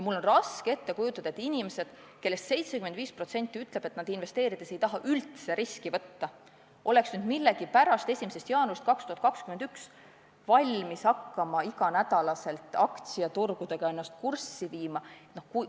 Mul on raske ette kujutada, et meie inimesed, kellest 75% ütleb, et nad investeerides ei taha üldse riski võtta, oleks 1. jaanuarist 2021 millegipärast valmis hakkama end iga nädal aktsiaturgudega kurssi viima.